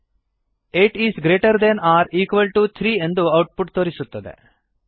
eight is greater than or equal to three ಎಂದು output ತೋರಿಸುತ್ತದೆ